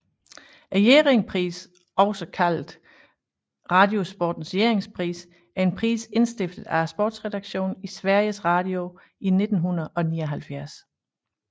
Jerringprisen også kaldet Radiosportens Jerringpris er en pris indstiftet af sportsredaktionen i Sveriges Radio i 1979